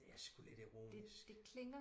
det er sku lidt ironisk